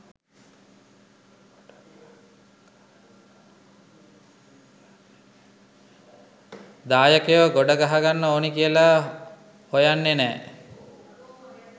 දායකයෝ ගොඩ ගහගන්න ඕන කියලා හොයන්නෙ නෑ.